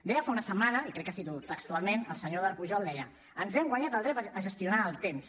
deia fa una setmana i crec que ho cito textualment el senyor eduard pujol deia ens hem guanyat el dret a gestionar el temps